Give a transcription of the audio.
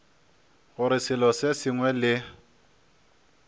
gore selo se sengwe le